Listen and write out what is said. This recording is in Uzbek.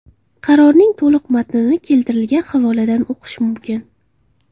Qarorning to‘liq matnini keltirilgan havoladan o‘qish mumkin.